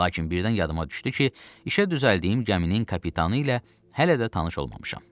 Lakin birdən yadıma düşdü ki, işə düzəldiyim gəminin kapitanı ilə hələ də tanış olmamışam.